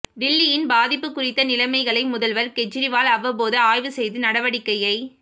டில்லியின் பாதிப்பு குறித்த நிலைமைகளை முதல்வர் கெஜ்ரிவால் அவ்வப்போது ஆய்வு செய்து நடவடிக்கையை